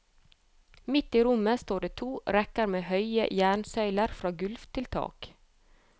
Midt i rommet står det to rekker med høye jernsøyler fra gulv til tak.